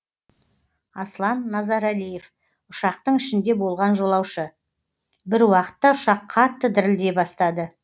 аслан назарәлиев ұшақтың ішінде болған жолаушы бір уақытта ұшақ қатты дірілдей бастады